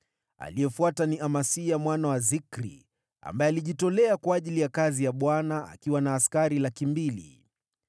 aliyefuata ni Amasia mwana wa Zikri, ambaye alijitolea kwa ajili ya kazi ya Bwana , akiwa na askari 200,000.